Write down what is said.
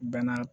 Bɛɛ n'a